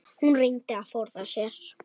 Hún reyndi að forða sér.